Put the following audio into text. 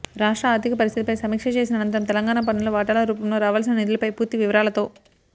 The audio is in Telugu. రాష్ట్ర ఆర్ధిక పరిస్థితిపై సమీక్ష చేసిన అనంతరం తెలంగాణకు పన్నుల వాటాల రూపంలో రావాల్సిన నిధులపై పూర్తి వివరాలతో